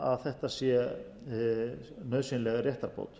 að þetta sé nauðsynleg réttarbót